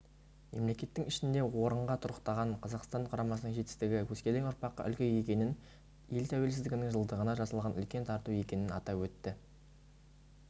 мемлекеттің ішінде орынға тұрақтаған қазақстан құрамасының жетістігі өскелең ұрпаққа үлгі екенін ел тәуелсіздігінің жылдығына жасалған үлкен тарту екенін атап өтті